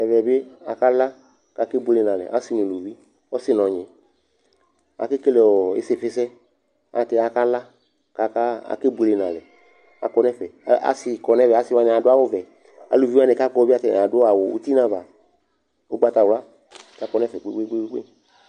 Ɛvɛ bɩ akala, akebuele nʋ alɛ asɩ nʋ uluvi Ɔsɩ nʋ ɔnyɩ akekele ɔ ɩsɩfɩsɛ ayɛlʋtɛ akala kʋ aka akebuele nʋ alɛ Akɔ nʋ ɛfɛ Asɩ kɔ nʋ ɛvɛ Asɩ wanɩ adʋ awʋvɛ, aluvi wanɩ kʋ akɔ yɛ bɩ ata adʋ awʋ uti nʋ ava ʋgbatawla kʋ akɔ nʋ ɛfɛ kpe-kpe-kpe